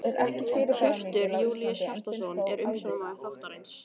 Hjörtur Júlíus Hjartarson er umsjónarmaður þáttarins.